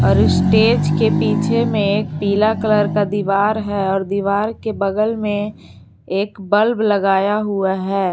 अरे स्टेज के पीछे में पीला कलर का दीवार है और दीवार के बगल में एक बल्ब लगाया हुआ है।